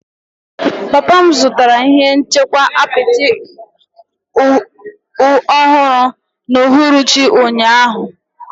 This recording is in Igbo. Papa m zụtara ihe nchekwa apịtị ọhụrụ n'uhuruchi ụnyaahụ.